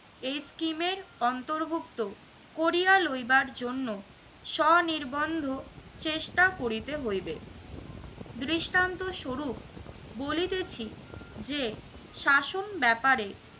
এই scheme এর অন্তর্ভুক্ত করিয়া লইবার জন্য সনিরবন্ধ চেষ্টা করিতে হইবে। দৃষ্টান্ত স্বরূপ বলিতেছি যে শাসন ব্যাপারে